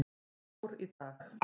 Ár í dag.